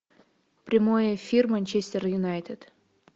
прямой эфир манчестер юнайтед